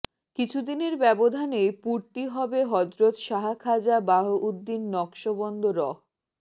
কিছুদিনের ব্যবধানে পূর্তি হবে হযরত শাহ খাজা বাহাউদ্দীন নকশবন্দ রহ